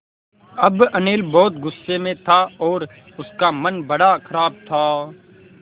अब अनिल बहुत गु़स्से में था और उसका मन बड़ा ख़राब था